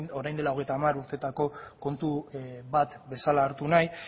orain dela hogeita hamar urtetako kontu bat bezala hartu nahi